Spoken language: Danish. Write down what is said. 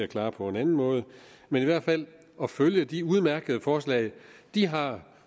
klare på en anden måde ved at følge de udmærkede forslag de har